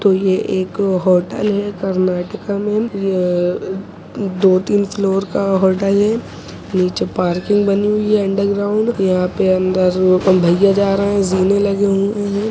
ये एक होटल है कर्नाटक में यह दो-तीन फ्लोर का होटल है नीचे पार्किंग बनी हुई है अंडरग्राउंड यहाँ पर अंदर भैया जा रहे हैं जीने लगी हुई--